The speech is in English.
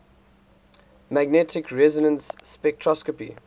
magnetic resonance spectroscopy